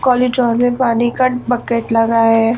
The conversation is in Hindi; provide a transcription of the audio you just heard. कॉलेज हाल में पानी का बकेट लगा है।